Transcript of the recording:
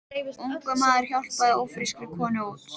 Ungur maður hjálpaði ófrískri konu út.